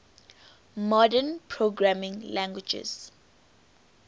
modern programming languages